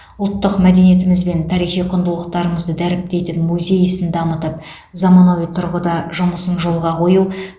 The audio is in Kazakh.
ұлттық мәдениетіміз бен тарихи құндылықтарымызды дәріптейтін музей ісін дамытып заманауи тұрғыда жұмысын жолға қою